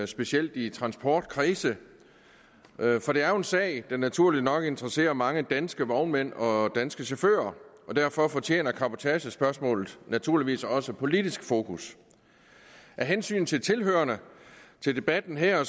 specielt i transportkredse for det er jo en sag der naturligt nok interesserer mange danske vognmænd og danske chauffører og derfor fortjener cabotagespørgsmålet naturligvis også politisk fokus af hensyn til tilhørerne til debatten her